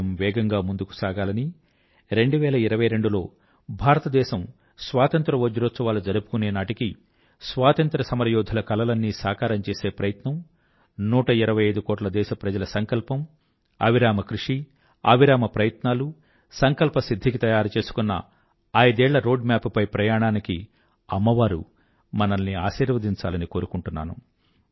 దేశం వేగంగా ముందుకు సాగాలనీ 2022 లో భారతదేశం స్వాతంత్ర్య వజ్రోత్సవాలు జరుపుకునేనాటికి స్వాతంత్ర్యసమరయోధుల కలలన్నీ సాకారం చేసే ప్రయత్నం 125కోట్ల దేశప్రజల సంకల్పం అవిరామ కృషి అవిరామ ప్రయత్నాలు సంకల్ప సిధ్ధికి తయారుచేసుకున్న ఐదేళ్ల రోడ్ మ్యాప్ పై ప్రయాణానికి అమ్మవారు మనల్ని ఆశీర్వదించాలని కోరుకుంటున్నాను